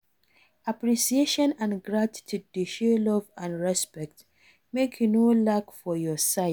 Appreciation and gratitude dey show love and respect, make e no lack for your side.